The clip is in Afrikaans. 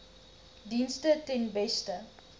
dienste ten beste